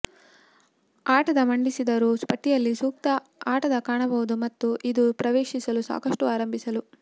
ಆಟದ ಮಂಡಿಸಿದರು ಪಟ್ಟಿಯಲ್ಲಿ ಸೂಕ್ತ ಆಟದ ಕಾಣಬಹುದು ಮತ್ತು ಇದು ಪ್ರವೇಶಿಸಲು ಸಾಕಷ್ಟು ಆರಂಭಿಸಲು